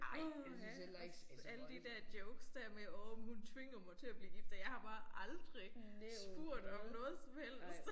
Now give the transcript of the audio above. Åha også alle de der jokes der med åh men hun tvinger mig til at blive gift og jeg har bare aldrig spurgt om noget som helst